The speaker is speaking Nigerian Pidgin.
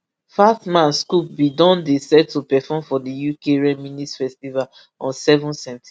fatman scoop bin don dey set to perform for di uk reminisce festival on seven september